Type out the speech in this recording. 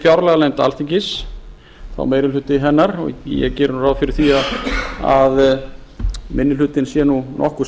fjárlaganefnd alþingis það er meiri hluti hennar ég geri ráð fyrir því að minni hlutinn sé nokkuð samhljóma